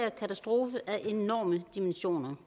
katastrofe af enorme dimensioner